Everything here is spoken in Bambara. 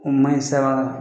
O ma ɲi .